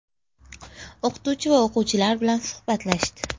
O‘qituvchi va o‘quvchilar bilan suhbatlashdi.